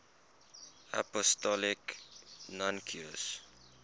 apostolic nuncios